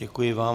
Děkuji vám.